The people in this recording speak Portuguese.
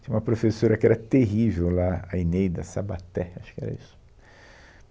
Tinha uma professora que era terrível lá, a Inêida Sabaté, acho que era isso.